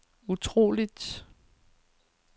utroligt